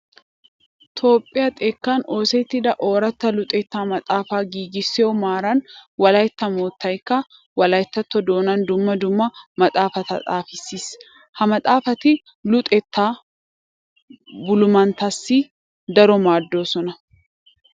Toophphiya xekkan oosettida ooratta luxettaa maxaafaa giigissiyo maaran wolaytta moottaykka wolayttatto doonaan dumma dumma maxaafata xaafissiis. Ha maxaafati luxettaa boolumatettaassi daro maaddoosona.